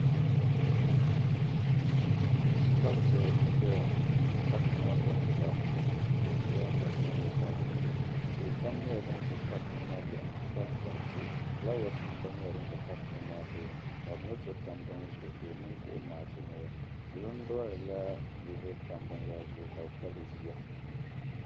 Castle n zaya ŋɔ castle maa pɛɛntila zaɣi piɛli, kabi drunigs ŋmari sabinli. pa dizuɣu tihi pam nyɛla dinʒɛ castle maa luɣa ni, n ti pahi. kpi kpali tihi fulawesnim gba. nyɛla din ʒɛ castle maa tooni ka bi meso tam bini zuɣu, la ɔniŋ ka ɔ maa chirimila bila druin la niribi n tam bin yara zuɣu kabi pɛbri yuwa.